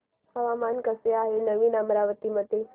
हवामान कसे आहे नवीन अमरावती मध्ये